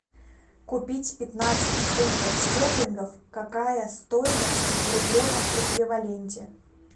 купить пятнадцать фунтов стерлингов какая стоимость в рублевом эквиваленте